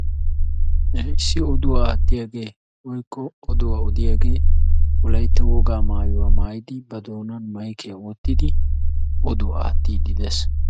issi oduwaa aattiyaage woykko oduwaa odiyaage wolaytta wogaa maayuwa maayidi oduwaa aattiiddi de'es.